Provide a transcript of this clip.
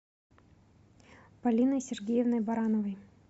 полиной сергеевной барановой